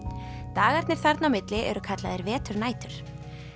dagarnir þarna mitt á milli eru kallaðir veturnætur